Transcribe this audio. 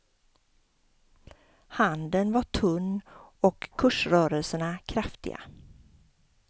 Handeln var tunn och kursrörelserna kraftiga.